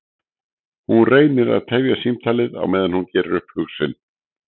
Hún reynir að tefja símtalið á meðan hún gerir upp hug sinn.